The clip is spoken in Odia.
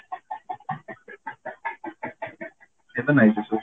ଏବେ ନାଇଁ ସେ ସବୁ